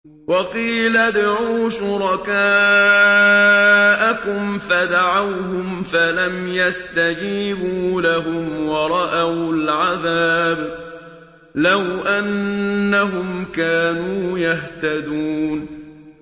وَقِيلَ ادْعُوا شُرَكَاءَكُمْ فَدَعَوْهُمْ فَلَمْ يَسْتَجِيبُوا لَهُمْ وَرَأَوُا الْعَذَابَ ۚ لَوْ أَنَّهُمْ كَانُوا يَهْتَدُونَ